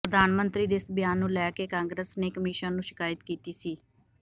ਪ੍ਰਧਾਨ ਮੰਤਰੀ ਦੇ ਇਸ ਬਿਆਨ ਨੂੰ ਲੈ ਕੇ ਕਾਂਗਰਸ ਨੇ ਕਮਿਸ਼ਨ ਨੂੰ ਸ਼ਿਕਾਇਤ ਕੀਤੀ ਸੀ